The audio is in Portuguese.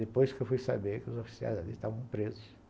Depois que eu fui saber que os oficiais ali estavam presos.